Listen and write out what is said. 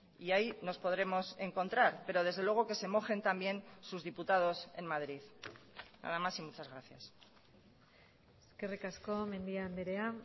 y ahí nos podremos encontrar pero desde luego que se mojen también sus diputados en madrid nada más y muchas gracias eskerrik asko mendia andrea